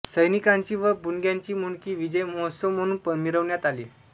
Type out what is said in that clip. सैनिकांची व बुणग्यांची मुंडकी विजय महोत्सव म्हणून मिरवण्यात आली